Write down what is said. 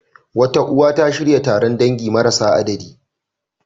Wata uwa, ta shirya taron dangi marasa adadi.